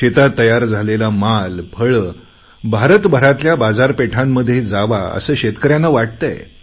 शेतात तयार झालेला माल फळं भारताभरातल्या बाजारपेठांमध्ये जावे असे शेतकऱ्यांना वाटतेय